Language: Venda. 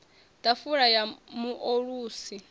ḓafula ya mu o ulusi